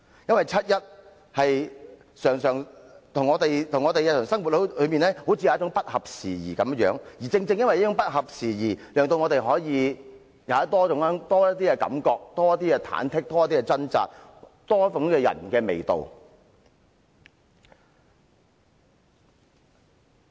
七一遊行與我們的日常生活好像不合時宜，但正是這種不合時宜，讓我們可以有多些感受，多些忐忑，多些掙扎，多點人的味道。